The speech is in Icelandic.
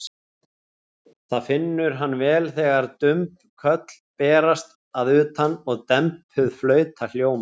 Það finnur hann vel þegar dumb köll berast að utan og dempuð flauta hljómar.